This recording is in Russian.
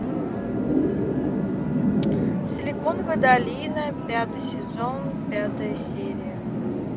силиконовая долина пятый сезон пятая серия